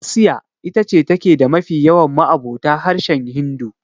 Asiya ita ce take da mafi yawan ma'abota harshen Hindu.